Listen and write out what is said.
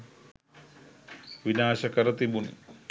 විනාශ කර තිබුණි